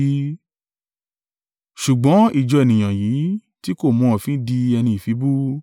Ṣùgbọ́n ìjọ ènìyàn yìí, tí ko mọ òfin di ẹni ìfibú.”